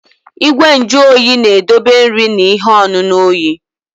Igwe nju oyi na-edobe nri na ihe ọṅụṅụ oyi.